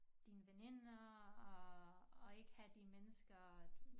Dine veninder og og ikke have de mennesker du